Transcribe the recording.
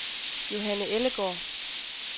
Johanne Ellegaard